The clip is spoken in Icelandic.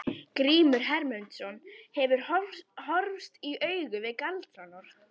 Grímur Hermundsson hefur horfst í augu við galdranorn.